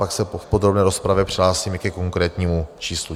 Pak se v podrobné rozpravě přihlásím i ke konkrétnímu číslu.